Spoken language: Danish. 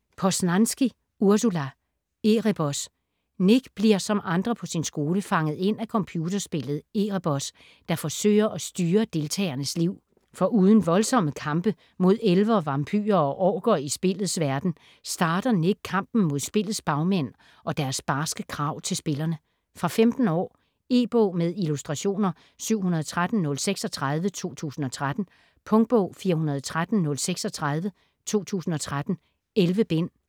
Poznanski, Ursula: Erebos Nick bliver som andre på sin skole fanget ind af computerspillet Erebos, der forsøger at styre deltagernes liv. Foruden voldsomme kampe mod elver, vampyrer og orker i spillets verden, starter Nick kampen mod spillets bagmænd og deres barske krav til spillerne. Fra 15 år. E-bog med illustrationer 713036 2013. Punktbog 413036 2013. 11 bind.